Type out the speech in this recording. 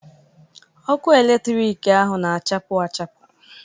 Ọkụ eletrik ahụ na-achapụ achapụ.